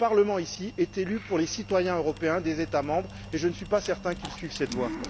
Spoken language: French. Ce Parlement est élu pour les citoyens européens des États membres, et je ne suis pas certain qu'ils suivent cette voie.